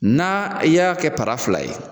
N'a y'a kɛ para fila ye